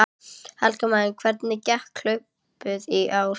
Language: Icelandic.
Helga María: Hvernig gekk hlaupið í ár?